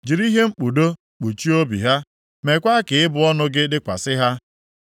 Jiri ihe mkpudo kpuchie obi ha. Meekwa ka ịbụ ọnụ gị dịkwasị ha.